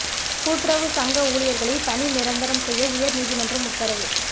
கூட்டுறவு சங்க ஊழியர்களை பணி நிரந்தரம் செய்ய உயர் நீதிமன்றம் உத்தரவு